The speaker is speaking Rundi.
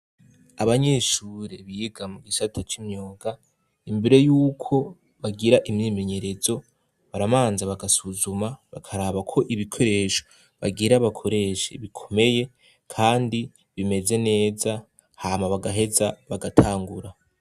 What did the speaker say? Abanyishure biga mu gishata c'imyoga imbere yuko bagira imyimenyerezo baramanza bagasuzuma bakaraba ko ibikoresho bagira bakoreshe bikomeye, kandi bimeze neza hama bagaheza bagatangura.